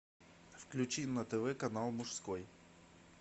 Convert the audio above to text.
включи на тв канал мужской